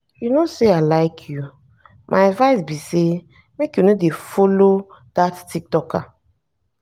you no say i like you my advice be say make you no dey follower dat tiktoker.